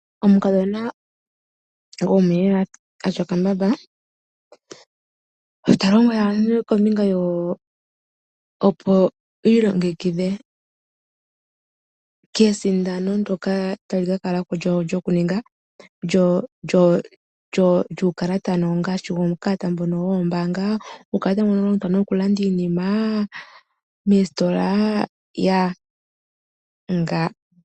Omukadhona gomolaka atya okambamba talombwele aantu kombinga opo yi ilongekidhe kesindano ndyoka tali ka kalako lyukalata ngashi uukalata mbono woombanga. Uukalata mbono oha wu longithwa oku landa iinima moostola.